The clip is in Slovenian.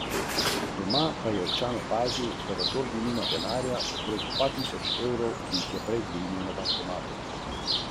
Raziskovalci so zaključili: "Rezultati kažejo, da lahko visoko predelana živila v prihodnjih desetletjih povečajo možnost za nastanek raka".